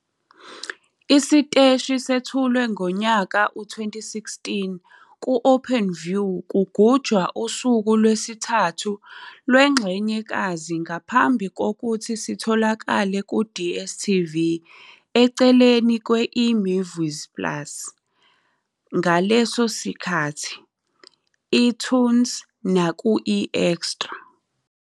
Isiteshi sethulwe ngo-2016 ku-Openview kugujwa usuku lwesi-3 lwengxenyekazi ngaphambi kokuthi sitholakale ku-DStv eceleni kwe-eMovies plus, ngaleso sikhathi, eToonz naku-eExtra.